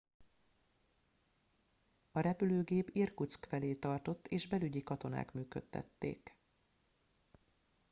a repülőgép irkutszk felé tartott és belügyi katonák működtették